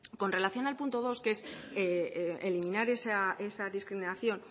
con relación al punto dos que es eliminar esa discriminación